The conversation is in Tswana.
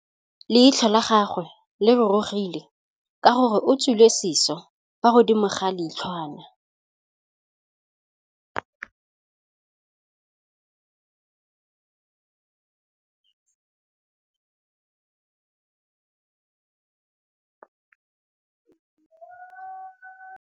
Leitlhô la gagwe le rurugile ka gore o tswile sisô fa godimo ga leitlhwana.